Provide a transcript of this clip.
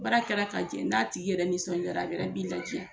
Baara kɛra ka jɛ n'a tigi yɛrɛ nisɔndiyara, a yɛrɛ b'i ladiya.